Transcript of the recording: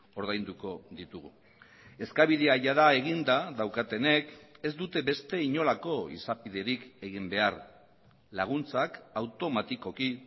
ordainduko ditugu eskabidea jada eginda daukatenek ez dute beste inolako izapiderik egin behar laguntzak automatikoki